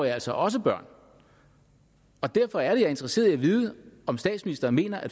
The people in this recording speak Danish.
er altså også børn derfor er er interesseret i at vide om statsministeren mener at